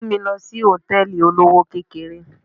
Mú mi lọ sí Hòtẹ́lìì olówó kékeré.